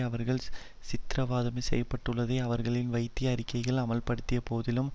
அவர்கள் சித்திரவதை செய்யப்பட்டுள்ளதை அவர்களின் வைத்திய அறிக்கைகள் அம்பலப்படுத்திய போதிலும்